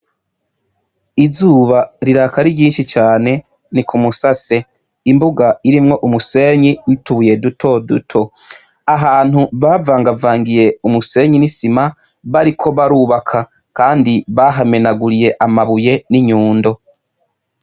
Izuba riraka ari ryinshi cane ni kumusase, imbuga irimwo umusenyi n'utubuye duto duto, ahantu bavangavangiye umusenyi n'isima ,bariko barubaka kandi bahamenaguriye amabuye n'inyundo.